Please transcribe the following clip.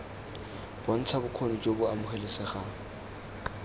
bontsha bokgoni jo bo amogelesegang